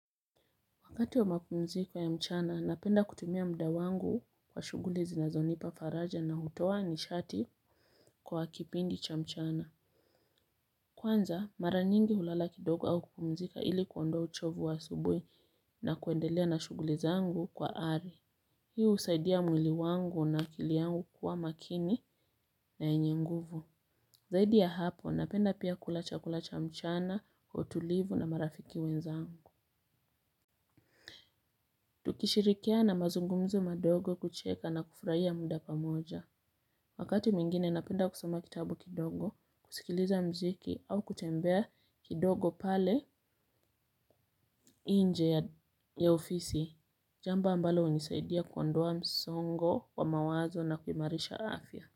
Wakati wa mapumziko ya mchana, napenda kutumia muda wangu kwa shughuli zinazonipa faraja na hutoa nishati kwa kipindi cha mchana. Kwanza, mara nyingi hulala kidogo au kupumzika ili kuondoa uchovu wa asubuhi na kuendelea na shughuli zangu kwa ari. Hii husaidia mwili wangu na akili yangu kuwa makini na yenye nguvu. Zaidi ya hapo, napenda pia kula chakula cha mchana, utulivu na marafiki wenza angu. Tukishirikiana mazungumzo madogo kucheka na kufurahia muda pamoja. Wakati mwingine napenda kusoma kitabu kidogo, kusikiliza mziki au kutembea kidogo pale nje ya ofisi. Jambo ambalo hunisaidia kuondoa msongo wa mawazo na kuimarisha afya.